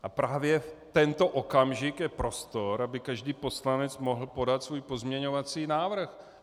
A právě tento okamžik je prostor, aby každý poslanec mohl podat svůj pozměňovací návrh.